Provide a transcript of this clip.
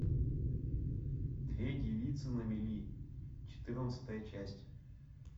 две девицы на мели четырнадцатая часть